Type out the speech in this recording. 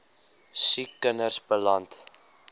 siek kinders beland